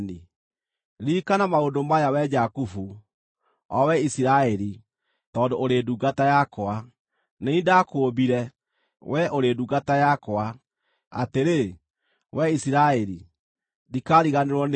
“Ririkana maũndũ maya, wee Jakubu, o wee Isiraeli, tondũ ũrĩ ndungata yakwa. Nĩ niĩ ndakũũmbire, wee ũrĩ ndungata yakwa; atĩrĩ, wee Isiraeli, ndikaariganĩrwo nĩwe.